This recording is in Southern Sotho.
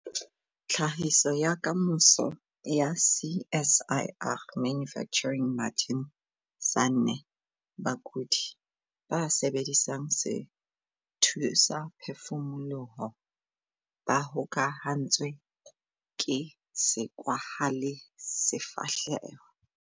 Tlhahiso ya Kamoso ya CSIR - Manufacturing Martin Sanne. Bakudi ba sebedisang sethusaphefumoloho ba hokahantswe ke sekwahelasefahleho.